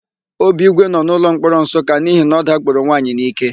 Obigwe nọ n'ụlọmkpọrọ Nsụka n'ihi na ọ dakporo nwaanyị n'íké.